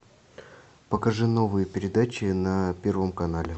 покажи новые передачи на первом канале